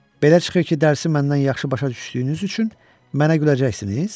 Belə çıxır ki, dərsi məndən yaxşı başa düşdüyünüz üçün mənə güləcəksiniz?